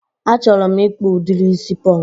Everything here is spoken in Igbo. A chọrọ m ịkpụ udiri isi pọnk